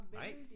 Nej